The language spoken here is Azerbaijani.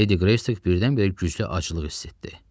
Ledi Qreystik birdən-birə güclü acılıq hiss etdi.